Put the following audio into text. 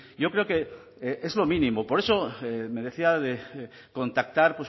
yo creo que es lo mínimo por eso me decía de contactar